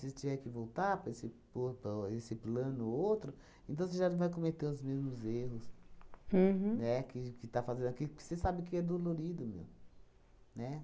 você tiver que voltar para esse po para esse plano ou outro, então você já não vai cometer os mesmos erros, uhum, né, que que está fazendo aqui, porque você sabe que é dolorido mesmo, né?